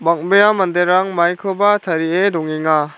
bang·bea manderang maikoba tarie dongenga.